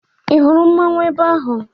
Ị hụrụ mmanwụ ebe ahụ?